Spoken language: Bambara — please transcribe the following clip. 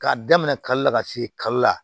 K'a daminɛ kali la ka se ka la